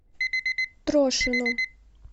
трошину